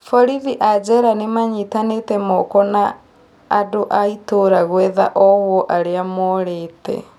Borithi a njera nĩmanyitanĩte moko na andũ a itũra gũetha ohwo arĩa morĩte